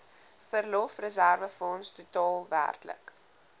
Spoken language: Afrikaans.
verlofreserwefonds totaal werklik